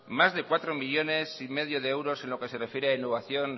más de cuatro millónes y medio de euros en lo que se refiere a innovación